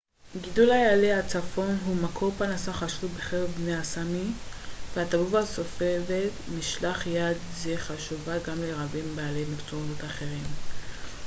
גידול איילי הצפון הוא מקור פרנסה חשוב בקרב בני הסאמי והתרבות הסובבת משלח יד זה חשובה גם לרבים בעלי מקצועות אחרים